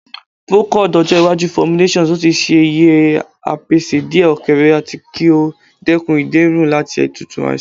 Procold ojo iwaju formulations o ti ṣe yẹ a pese diẹ okeerẹ ati ki o dekun iderun lati tutu aisan